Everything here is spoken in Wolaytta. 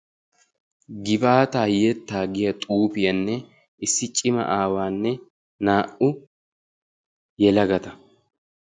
Gifaataa yetaa giya xuufiyanne issi cimma aawanee naa"u yelagata.